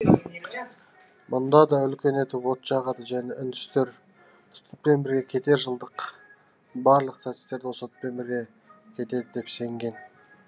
мұнда да үлкен етіп от жағады және үндістер түтінмен бірге кетер жылдың барлық сәтсіздіктері осы отпен бірге кетеді деп сенген